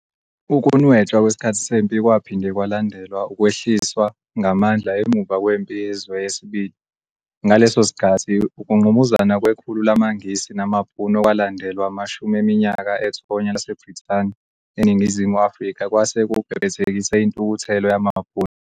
Ukunwetshwa kwesikhathi sempi kwaphinde kwalandelwa ukwehliswa ngamandla emuva kweMpi Yezwe II. Ngaleso sikhathi, ukungqubuzana kwekhulu lamaNgisi namaBhunu okwalandelwa amashumi eminyaka ethonya laseBrithani eNingizimu Afrika kwase kubhebhethekise intukuthelo yamaBhunu.